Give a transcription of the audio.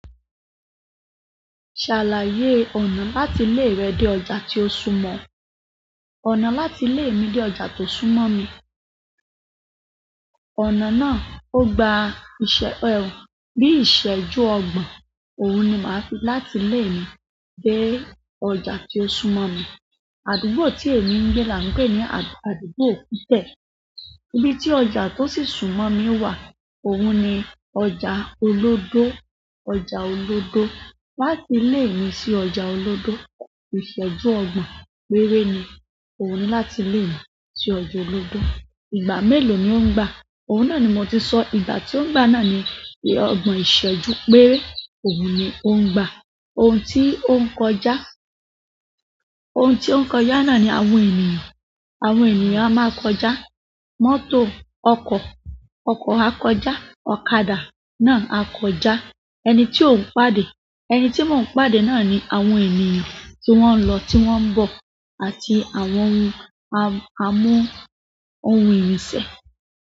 Ṣàlàyé ọ̀nà láti ilé rẹ dé ọjà tí ó súnmọ́ ọ. Ọ̀nà láti ilé mi dé ọjà tó súnmọ́ mi ọ̀nà náà ó gba ìṣẹ- ẹ, bí ìṣẹ́jú ọgbọ̀n. Òun ni màá fi láti ilé mi dé ọjà tí ó súnmọ́ mi. Àdúgbò tí èmi ń gbé là ń pè ní àdúgbò Fítẹ̀. Ibi tí ọjà tó sì súnmọ́ mi wà, òun ni ọjà Olódó. Ọjà Olódó. Láti ilé mi sí ọjà Olódó, ìṣẹ́jú ọgbọ̀n péré ni. Òun ni láti ilé mi sí ọjà Olódó. Ìgbà mélòó ni ó ń gba? Òun náà ni mo ti sọ, ìgbà tí ó ń gbà náà ni pé ọgbọ̀n ìṣẹ́jú péré. Òun ni ó ń gbà. Ohun tí ó ń kọjá, ohun tí ó ń kọjá náà ni àwọn ènìyàn. Àwọn ènìyàn a máa kọjá. Mọ́tò, ọkọ̀, ọkọ̀ a kọjá. Ọ̀kadà náà a kọjá. Ẹni tí ó ń pàdé, ẹni tí mo ń pàdé náà ni àwọn ènìyàn tí wọ́n ń lọ, tí wọ́n ń bọ̀ àti àwọn ohun a mú ohun ìrìnsẹ̀.